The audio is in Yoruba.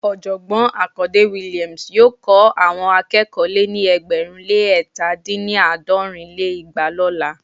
Ọ̀jọ̀gbọ́n Akande Williams yóò kọ́ àwọn akẹ́kọ̀ọ́ lé ní ẹgbẹ̀rún lé ẹ̀ta dín ní- àádọ́rin lé igba lọ́la